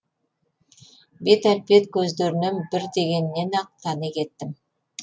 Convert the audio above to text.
бет әлпет көздерінен бір дегеннен ақ тани кеттім